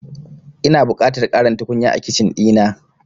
Ina buƙatar ƙarin tukunya a Kicin ɗina.